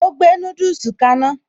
Ó gbé núdùsì kaná